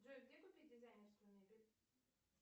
джой где купить дизайнерскую мебель